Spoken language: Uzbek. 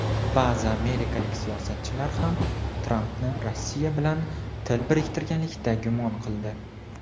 Ba’zi amerikalik siyosatchilar ham Trampni Rossiya bilan til biriktirganlikda gumon qildi.